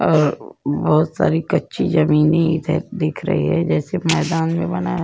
बोहोत सारी कच्ची जमीन ही इधर दिख रही है जैसे मैदान में बना --